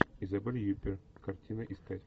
изабель юпир картина искать